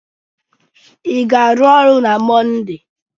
Ị ga-arụ ọrụ na Monde!